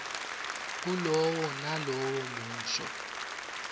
kulowo nalowo musho